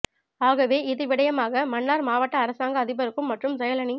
ஆகவே இது விடயமாக மன்னார் மாவட்ட அரசாங்க அதிபருக்கும் மற்றும் செயலனி